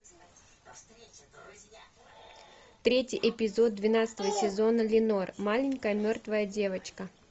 третий эпизод двенадцатого сезона ленор маленькая мертвая девочка